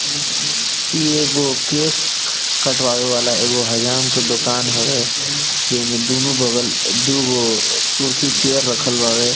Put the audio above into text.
इ एगो केस कटवावे वाला एगो हज़ाम के दुकान हवे जे में दोनों बगल दुगो कुर्सी चेयर रखल बावे।